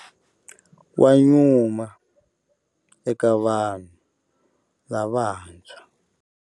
Wa nyuma eka vanhu lavantshwa.